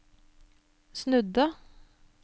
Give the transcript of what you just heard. snudde